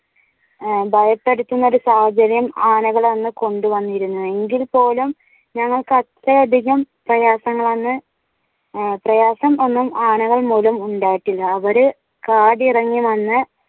ഭയപ്പെടുത്തുന്ന ഒരു സാഹചര്യമാണ് ആനകൾ അന്ന് കൊണ്ടുവന്നിരുന്നത്. എങ്കിൽ പോലും ഞങ്ങൾക്ക് അത്രയധികം പ്രയാസങ്ങളൊന്നും പ്രായസം ഒന്നും ആനകൾ മൂലം ഉണ്ടായിട്ടില്ല അവർ കാടിറങ്ങി വന്ന്